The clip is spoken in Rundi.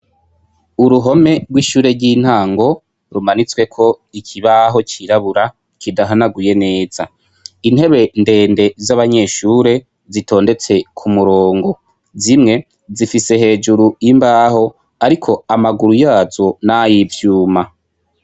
Uruhome rwishure ryintango rumanitsweko ikibaho cirabura kidahanaguye neza intebe ndende zabanyeshure zitondetse kumurongo zimwe zifise hejuru imbaho ariko amaguru yazo nayivyuma